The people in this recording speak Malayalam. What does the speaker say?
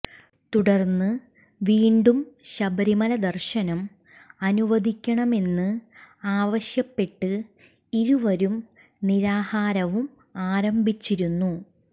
തുടര്ന്ന് വീണ്ടും ശബരിമല ദര്ശനം അനുവദിക്കണമെന്ന് ആവശ്യപ്പെട്ട് ഇരുവരും നിരാഹാരവും ആരംഭിച്ചിരുന്നു